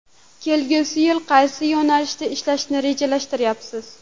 Kelgusi yil qaysi yo‘nalishda ishlashni rejalashtiryapsiz?